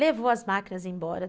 Levou as máquinas embora.